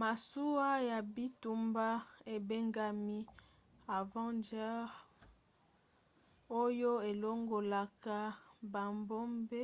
masuwa ya bitumba ebengami avenger oyo elongolaka babombe